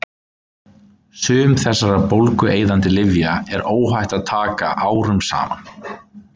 Sum þessara bólgueyðandi lyfja er óhætt að taka árum saman.